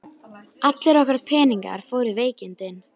Allir okkar peningar fóru í veikindin.